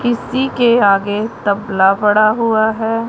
इसी के आगे तबला पड़ा हुआ है।